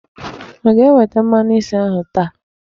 Ọ ga-eweta mmanụ isi ahụ taa?